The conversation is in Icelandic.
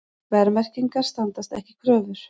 Verðmerkingar standast ekki kröfur